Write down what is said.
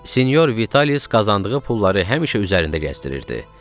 Sinyor Vitalis qazandığı pulları həmişə üzərində gəzdirirdi.